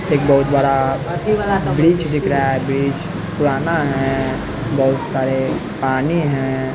एक बहुत बड़ा ब्रिज दिख रहा है ब्रिज पुराना है बहुत सारे पानी हैं।